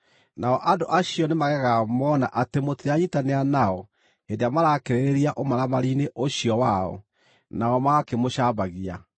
Nao andũ acio nĩmagegaga mona atĩ mũtiranyiitanĩra nao hĩndĩ ĩrĩa marakĩrĩrĩria ũmaramari-inĩ ũcio wao, nao magakĩmũcambagia.